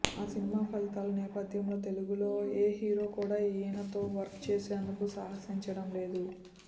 ఆ సినిమా ఫలితాల నేపథ్యంలో తెలుగులో ఏ హీరో కూడా ఈయనతో వర్క్ చేసేందుకు సాహసించడం లేదు